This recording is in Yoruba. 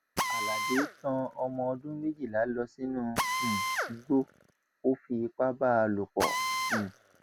aládé tán ọmọ ọdún méjìlá lọ sínú um igbó ó fipá bá a lò pọ um